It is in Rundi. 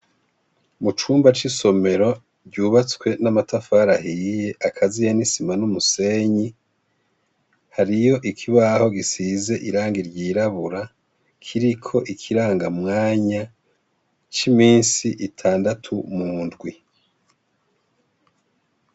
Mucumba cisomero ryubatswe n'amatafari ahiye akaziye n'isima numusenyi hariyo ikibaho gisize irangi ryirabura kiriko ikirangamisi imisi zitandatu mundwi.